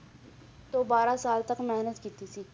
ਤੋਂ ਬਾਰਾਂ ਸਾਲ ਤੱਕ ਮਿਹਨਤ ਕੀਤੀ ਸੀ,